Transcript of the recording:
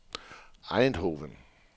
Eindhoven